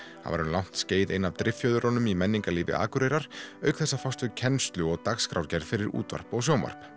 hann var um langt skeið ein af í menningarlífi Akureyrar auk þess að fást við kennslu og dagskrárgerð fyrir útvarp og sjónvarp